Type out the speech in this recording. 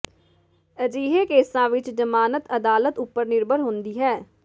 ਅਜਿਹੇ ਕੇਸਾ ਵਿੱਚ ਜਮਾਨਤ ਅਦਾਲਤ ਉਪਰ ਨਿਰਭਰ ਹੁੰਦੀ ਹੈ